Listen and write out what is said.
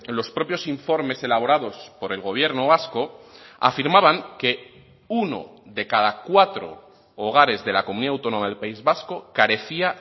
los propios informes elaborados por el gobierno vasco afirmaban que uno de cada cuatro hogares de la comunidad autónoma del país vasco carecía